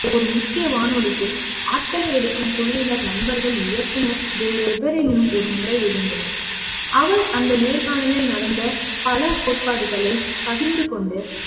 ஒரு முக்கிய வானொலிக்கு ஆட்களை எடுக்கும் குழுவினர் நண்பர்கள் இயக்குனர் வேறெவரேனும் ஒருமுறை இருந்தனர் அவர் அந்த நேர்காணல் நடந்த பல கோட்பாடுகளை பகிர்ந்து கொண்டு